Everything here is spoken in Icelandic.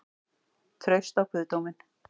Traust á guðdóminn?